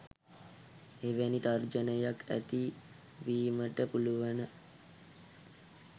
එවැනි තර්ජනයක් ඇති වීමට පුළුවන.